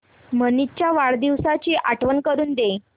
मनीष च्या वाढदिवसाची आठवण करून दे